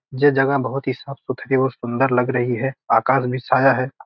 ये जगह बहुत ही साफ़-सुथरी और सुंदर लग रही है आकाश भी साया है।